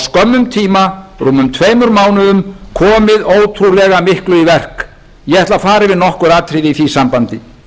skömmum tíma rúmum tveimur mánuðum komið ótrúlega miklu í verk ég ætla að fara yfir nokkur atriði í því sambandi